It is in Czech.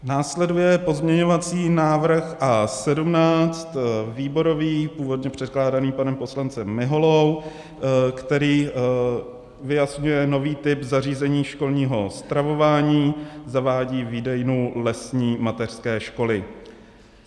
Následuje pozměňovací návrh A17, výborový, původně předkládaný panem poslancem Miholou, který vyjasňuje nový typ zařízení školního stravování, zavádí výdejnu lesní mateřské školy.